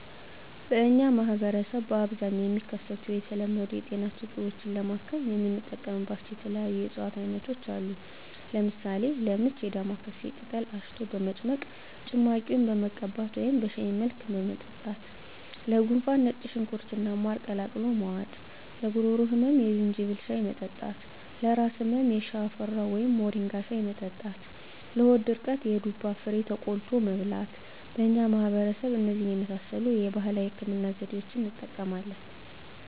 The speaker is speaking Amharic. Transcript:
በእኛ ማህበረሰብ በአብዛኛው የሚከሰቱ የተለመዱ የጤና ችግሮችን ለማከም የምንጠቀምባቸው የተለያዩ የእፅዋት አይነቶች አሉ። ለምሳሌ፦ -ለምች የዳማካሴ ቅጠል አሽቶ በመጭመቅ ጭማቂውን መቀባት ወደም በሻይ መልክ መጠጣት -ለጉንፋን ነጭ ሽንኩርት እና ማር ቀላቅሎ መዋጥ -ለጉሮሮ ህመም የዝንጅብል ሻይ መጠጣት -ለራስ ህመም የሽፈራው ወይም ሞሪንጋ ሻይ መጠጣት -ለሆድ ድርቀት የዱባ ፍሬ ተቆልቶ መብላት በእኛ ማህበረሰብ እነዚህን የመሳሰሉ የተለያዩ የባህላዊ ህክምና ዘዴዋችን እንጠቀማለን።